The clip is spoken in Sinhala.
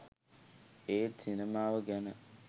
ඒත් සිනමාව ගැන